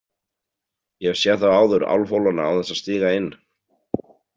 Ég hef séð þá áður álfhólana án þess að stíga inn.